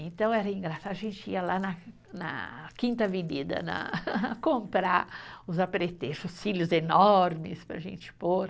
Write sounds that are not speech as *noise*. Então era engraçado, a gente ia lá na na, Quinta Avenida na, *laughs* comprar os apetrechos, cílios enormes para a gente pôr.